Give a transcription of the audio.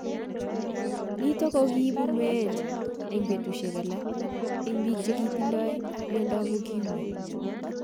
Nitok ko ne kiipu meet ing petushek alak ing piik che kitindoi HIV/AIDS.(miondop ukimwi)